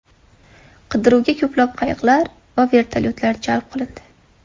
Qidiruvga ko‘plab qayiqlar va vertolyotlar jalb qilindi.